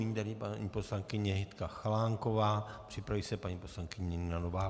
Nyní tedy paní poslankyně Jitka Chalánková, připraví se paní poslankyně Nina Nováková.